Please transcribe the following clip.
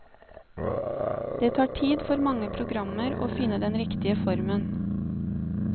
Det tar tid for mange programmer å finne den riktige formen.